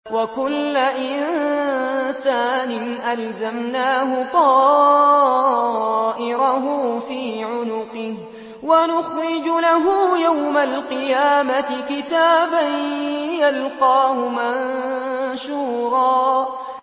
وَكُلَّ إِنسَانٍ أَلْزَمْنَاهُ طَائِرَهُ فِي عُنُقِهِ ۖ وَنُخْرِجُ لَهُ يَوْمَ الْقِيَامَةِ كِتَابًا يَلْقَاهُ مَنشُورًا